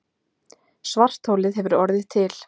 Svartholið hefur orðið til.